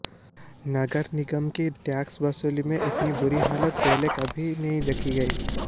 नगर निगम की टैक्स वसूली में इतनी बुरी हालत पहले कभी नहीं देखी गई